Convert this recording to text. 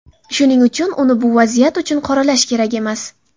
Shuning uchun uni bu vaziyat uchun qoralash kerak emas.